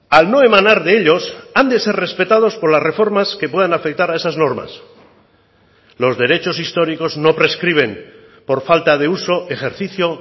al no emanar de ellos han de ser respetados por las reformas que puedan afectar a esas normas los derechos históricos no prescriben por falta de uso ejercicio